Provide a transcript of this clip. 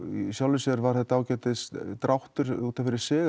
í sjálfu sér var þetta ágætis dráttur út af fyrir sig